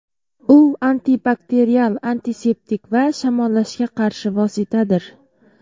U antibakterial, antiseptik va shamollashga qarshi vositadir.